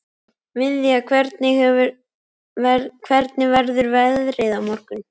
Viðja, hvernig verður veðrið á morgun?